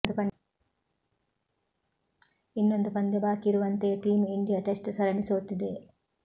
ಇನ್ನೊಂದು ಪಂದ್ಯ ಬಾಕಿ ಇರುವಂತೆಯೇ ಟೀಂ ಇಂಡಿಯಾ ಟೆಸ್ಟ್ ಸರಣಿ ಸೋತಿದೆ